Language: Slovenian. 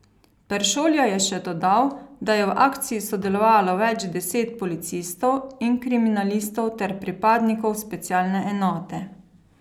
Peršolja je še dodal, da je v akciji sodelovalo več deset policistov in kriminalistov ter pripadnikov specialne enote.